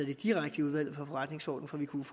det direkte i udvalget for forretningsordenen for vi kunne